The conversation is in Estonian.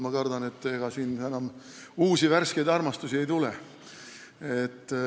Ma kardan, et ega siin enam uusi, värskeid armastusi ei tule.